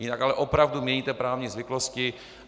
Jinak ale opravdu měníte právní zvyklosti.